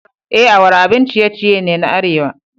E, awara abun ciye-ciye ne na arewa.